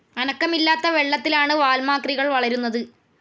അനക്കമില്ലാത്ത വെള്ളത്തിലാണു വാൽമാക്രികൾ വളരുന്നത്.